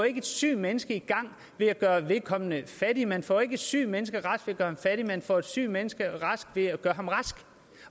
ikke et sygt menneske i gang ved at gøre vedkommende fattig man får ikke et sygt menneske rask ved at gøre ham fattig man får et sygt menneske rask ved at gøre ham rask